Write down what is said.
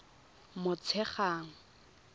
motshegang